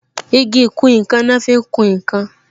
Igi ìkùn nkan ni wọn fi ń kún nkan